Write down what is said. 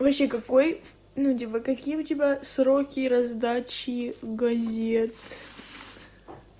вообще какой ну типа какие у тебя сроки раздач газет